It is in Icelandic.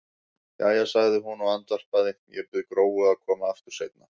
Jæja, sagði hún og andvarpaði, ég bið Gróu að koma aftur seinna.